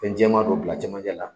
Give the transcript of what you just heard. Fɛn jɛma dɔ bila a camanjɛ la